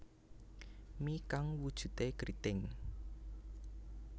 Mi kang wujude kriting